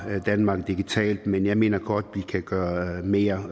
danmark digitalt men jeg mener godt at vi kan gøre mere